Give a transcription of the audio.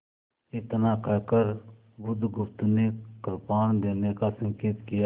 इतना कहकर बुधगुप्त ने कृपाण देने का संकेत किया